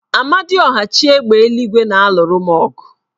Amadiọha, chi égbè eluigwe na-alụru m ọgụ